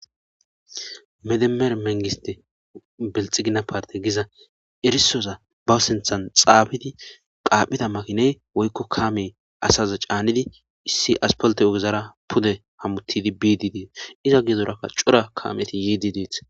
Medemer mengiste belxigina parte giza erisoza bawu sinthan xaabidi qaaphida makiney woykko kaamey asaza caanidi issi aspolte ogezara pude hamuttidi biidi dees iza giezorakka cura kaameti yd det